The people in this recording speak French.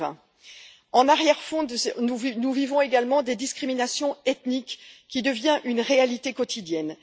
2020. En arrière fond, nous vivons également des discriminations ethniques qui deviennent une réalité quotidienne.